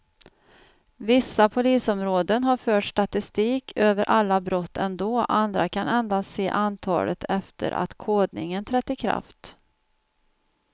Vissa polisområden har fört statistik över alla brott ändå, andra kan endast se antalet efter att kodningen trätt i kraft.